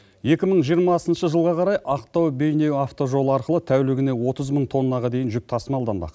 екі мың жиырмасыншы жылға қарай ақтау бейнеу автожолы арқылы тәулігіне отыз мың тоннаға дейін жүк тасымалданбақ